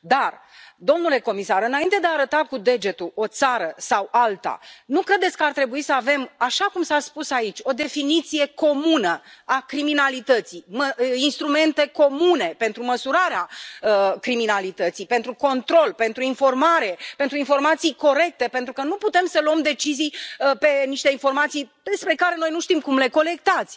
Dar, domnule comisar, înainte de a arăta cu degetul o țară sau alta, nu credeți că ar trebui să avem așa cum s a spus aici o definiție comună a criminalității, instrumente comune pentru măsurarea criminalității, pentru control, pentru informare, pentru informații corecte, pentru că nu putem să luăm decizii pe niște informații despre care noi nu știm cum le colectați.